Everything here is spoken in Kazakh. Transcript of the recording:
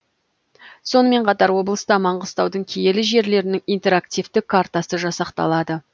сонымен қатар облыста маңғыстаудың киелі жерлерінің интерактивті картасы жасақталды